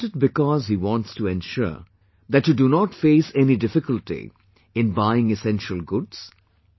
Isn't it because he wants to ensure that you do not face any difficulty in buying essential goods